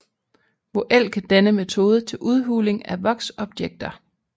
Voelke denne metode til udhuling af voks objekter